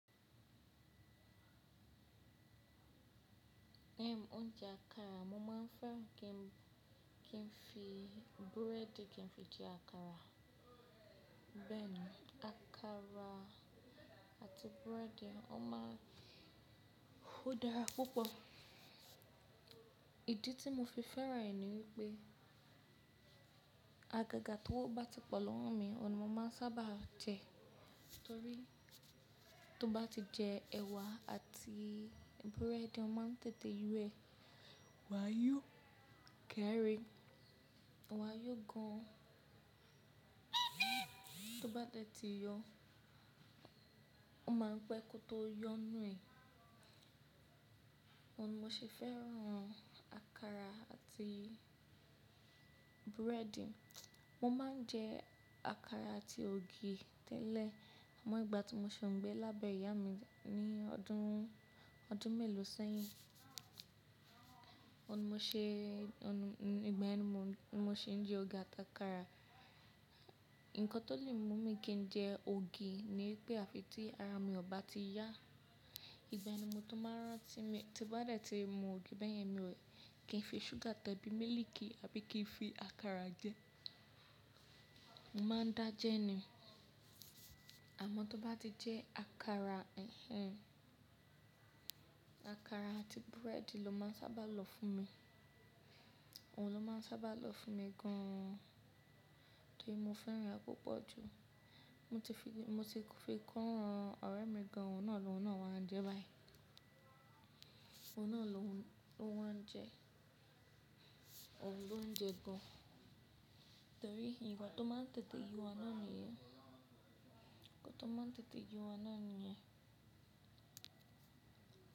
Erm oúnjẹ àkàrà mo máa ń fẹ́ràn kí n fi búrẹ́ẹ́dì kí n fi jẹ àkàrà. Bẹ́ẹ̀ni, àkàrà àti búrẹ́ẹ́dì, ó máa ń dára púpọ̀. Ìdí tí mo fi fẹ́ràn rẹ̀ ni wípé àgàgà tó bá ti pọ̀ lọ́wọ́ mi ọ̀nà mo máa ń sábà jẹ, torí tó bá ti jẹ ẹ̀wà àti búrẹ́ẹ́dì o máa ń tètè yú ẹ̀, wàá yó keri, wàá yó gan. Tó bá dẹ̀ tti yo, o máa ń pẹ́ kó tó yọ nu e. Oun ni mo ṣe fẹ́ràn àkàrà àti búrẹ́ẹ́dì. Mo ma n jẹ àkàrà àti ògì tẹ́lẹ̀. Àmọ́ ìgbà tí mo ṣe ń gbé lábẹ́ ìyá mi ní ọdún, ọdún mélòó sẹ́yìn, ọ̀nà mo ṣe, ọ̀nà ìgbà ẹni mo ṣe ń jẹ ògì àti àkàrà. Ikan tó lè mú mi kí n jẹ ògì ni wípé àfi tí ara mi ò ba ti yá. Ìgbà yen mo to máa rántí mu, tí ó bá dẹ̀ ti mu ògì bẹ́yẹn mi ò kí n fi ṣúgà tàbí mílíìkì àbí kí n fi àkàrà jẹ. Mo maa ń dá jẹ ní. Àmọ́ tó bá ti jẹ àkàrà, ẹ̀hẹ̀n. Àkàrà àti búrẹ́ẹ́dì ló máa ń sábà lọ fún mi. Òun ló máa ń sábà lọ fún mi gann torí mo fẹ́ràn e púpọ̀ jù. Mo ti fi, mo ti fi ko ran ọ̀rẹ́ mi gan, òun náà lóun náà wá ń jẹ báyìí. Òun náà lóun ló wá ń jẹ, òun ló ń jẹ gan torí ikan tó máa ń tètè yo ọ̀unà nìyẹn. Nkan tó máa ń tètè yo ouna nìyẹn.